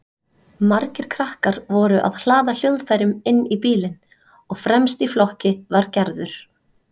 Margir krakkar voru að hlaða hljóðfærum inn í bílinn og fremst í flokki var Gerður.